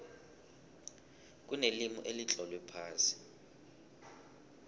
kunelimi elitlolwe phasi